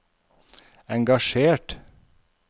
engasjert